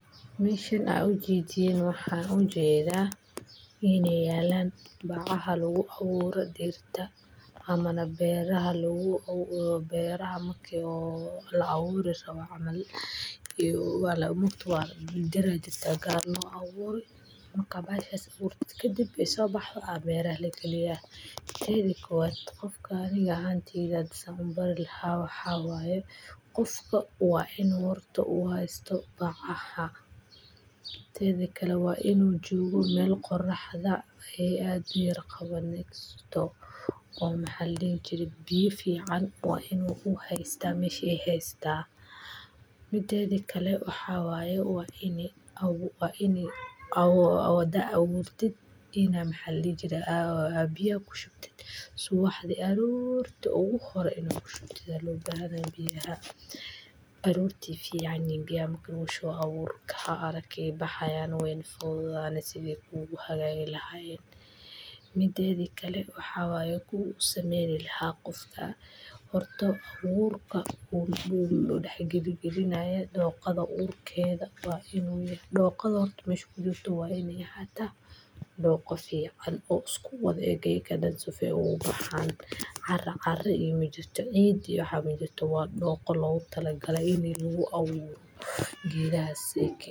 Meshan aad u jedin waxaan u jeeda iyo neyland baqaha lagu awooro diirta amma beera ha loogu beiraamo kiisoo la awuro sababo amma iyo walbo mutu waa mid yaraa jirta gaar nooc awooy mar kabash isku urtid ka dib isoo baxo aa beera la galiya. Taa dalkooda qofkaan iga aantiina Desember la xawaayo qofka waa inuu horato waastoo baqaa ha. Taasi kala waa inuu joogo meel qorraxda ay aad miraqabanayaan oo maxallii jirin biyo fiican waa inuu u haysta meeshii haystaa. Midaani kalle waxaa waaye waa inee ugu waa inee ugu wada awgeertid inaa maxalli jira ah biyo ku shubtid suwaxdi aroorti ugu horey naku shubtida looga hadla biyaha, baruur tiifi canigeen iyo mugusho awood ka aragay baxaya noo wayn fawdaan sidii kuugu hadhaagay la hayn. Midaadii kale waxaa waaya ku sameyn lahaa qofka horto awood ka urdu dhexe gidigidi nae doqada uurkeeda waa inuu yahay doqod irti miskiisa waa inay haata doqo fiican oo isku wadeega kadib sufee ugu baxaan carra qarri iyo mid jirto ciidi waxaa muddo toba doqon loogu talagalay inay lagu awoor giraasiki.